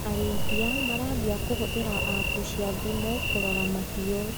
Arĩithia marambia kũhũthĩra apu cia thimũ kũrora mahiũ.